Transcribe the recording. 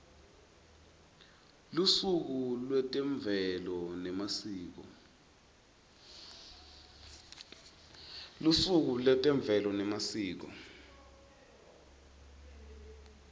lusuku lwetemvelo nemasiko